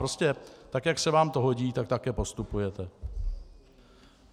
Prostě tak jak se vám to hodí, tak také postupujete.